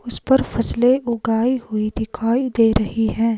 उस पर फसलें उगाई हुई दिखाई दे रही हैं।